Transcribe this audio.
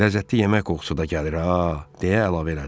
Ləzzətli yemək qoxusu da gəlir ha, deyə əlavə elədi.